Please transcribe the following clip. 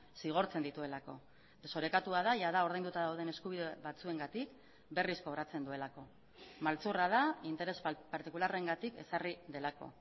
zigortzen dituelako desorekatua da jada ordainduta dauden eskubide batzuengatik berriz kobratzen duelako maltzurra da interes partikularrengatik ezarri delako